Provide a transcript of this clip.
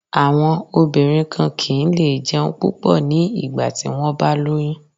Àwọn obìnrin kan kì ń lé jẹun púpọ̀ ní ìgbà tí wón bá lóyún.